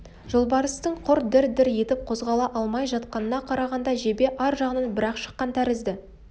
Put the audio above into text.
жолбарыстың құр дір-дір етіп қозғала алмай жатқанына қарағанда жебе ар жағынан бір-ақ шыққан тәрізді